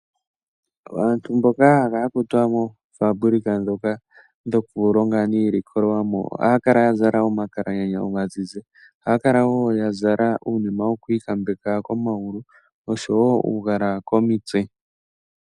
Aantu mboka haya kala yakutwa moofabulika ndhoka dhoku longa iilikolomwa ohaya kala ya zala omakalaganya omazizi, ohaya kala wo ya zala uunima woku ikambeka komagulu oshowo uugala komitse.